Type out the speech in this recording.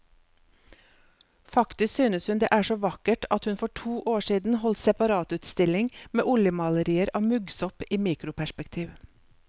Faktisk synes hun det er så vakkert at hun for to år siden holdt separatutstilling med oljemalerier av muggsopp i mikroperspektiv.